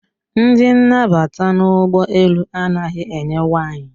Ndị nnabata n'ụgbọ elu anaghị enye waịn.